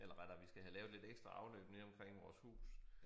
Eller rettere vi skal have lavet lidt ekstra afløb nede omkring vores hus